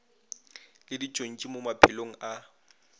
le ditšontši mo maphelong a